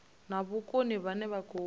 na vhukoni vhane vha khou